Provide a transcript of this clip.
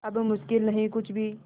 अब मुश्किल नहीं कुछ भी